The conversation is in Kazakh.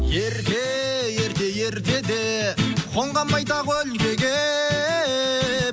ерте ерте ертеде қонған байтақ өлкеге